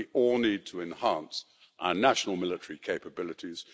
We all need to enhance our national military capabilities.